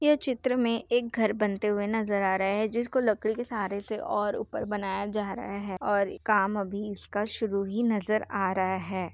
ये चित्र में एक घर बनते हुए नजर आ रहा है जिसको लकड़ी के सहारे से और उपर बनाया जा रहा है और काम अभी इसका शुरू ही नजर आ रहा है।